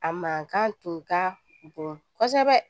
A mankan tun ka bon kosɛbɛ